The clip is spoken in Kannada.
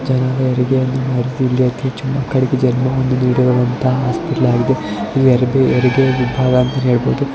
ಅತಿ ಹೆಚ್ಚು ಮಕ್ಕಳಿಗೆ ವಂತಹ ಹಾಸ್ಪಿಟಲ್ ವಾಗಿದೆ. ಇದು ಹೆರಿಗೆ ವಿಭಾಗ ಅಂತಾನೂ ಹೇಳಬಹುದು.